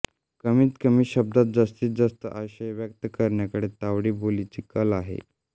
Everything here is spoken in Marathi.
कमीत कमी शब्दात जास्तीत जास्त आशय व्यक्त करण्याकडे तावडी बोलीचा कल आहे